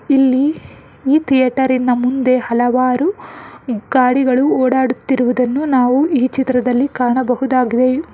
ಇಲ್ಲಿ ಈ ಥೀಯೇಟರಿನ ಮುಂದೆ ಹಲವಾರು ಗಾಡಿಗಳು ಓಡಾಡುತ್ತಿರುವುದನ್ನು ನಾವು ಈ ಚಿತ್ರದಲ್ಲಿ ಕಾಣಬಹುದಾಗಿದೆ ಮ --